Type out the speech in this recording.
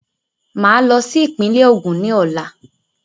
Mà á lọ sí ìpínlẹ̀ Ògùn ní Ọ̀la.